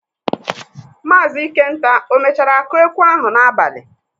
Maazị Ikenta o mechara kụọ ekwe ahụ n'abalị?